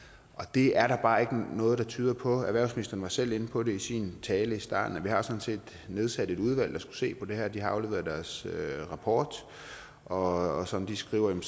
det er der bare ikke noget der tyder på og erhvervsministeren var selv inde på det i sin tale i starten vi har sådan set nedsat et udvalg der skulle se på det her og de har afleveret deres rapport og som de skriver